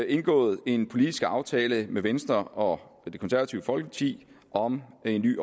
indgået en politisk aftale med venstre og det konservative folkeparti om en ny